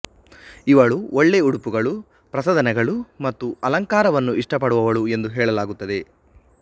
ಇವಳು ಒಳ್ಳೆ ಉಡುಪುಗಳು ಪ್ರಸಾಧನಗಳು ಮತ್ತು ಅಲಂಕಾರವನ್ನು ಇಷ್ಟಪಡುವವಳು ಎಂದು ಹೇಳಲಾಗುತ್ತದೆ